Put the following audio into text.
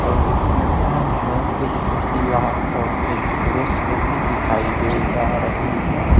और इसमें सामने एक महिला और एक पुरुष को भी दिखाई दे रहा रही है।